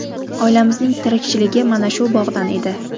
Oilamizning tirikchiligi mana shu bog‘dan edi.